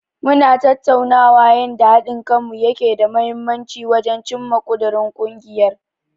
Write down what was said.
Mu na tattaunawa yanda haɗin kanmu yake da mahimmanci wajen cimma ƙudirin ungiyar.